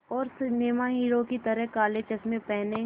और सिनेमा के हीरो की तरह काले चश्मे पहने